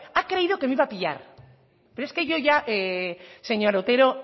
ha creído que me iba a pillar pero es que yo ya señor otero